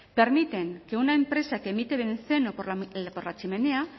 permiten que una empresa que emite benceno por la chimenea